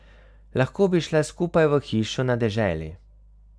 Lahko bi šla skupaj v hišo na deželi.